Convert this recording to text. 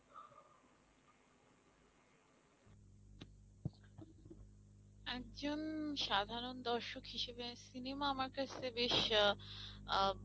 একজন সাধারণ দর্শক হিসাবে cinema আমার কাছে বেশ আহ আহ